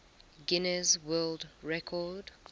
guinness world record